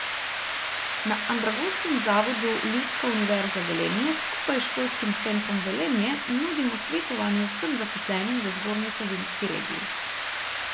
Na Andragoškem zavodu Ljudska univerza Velenje skupaj s Šolskim centrom Velenje nudimo svetovanje vsem zaposlenim v Zgornje Savinjski regiji.